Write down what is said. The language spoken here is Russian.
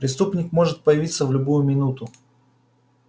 преступник может появиться в любую минуту